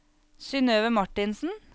Synnøve Marthinsen